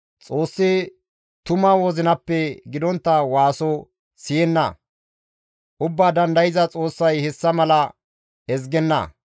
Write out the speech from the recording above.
Xoossi tuma wozinappe gidontta waaso siyenna; Ubbaa Dandayza Xoossay hessa mala ezgenna.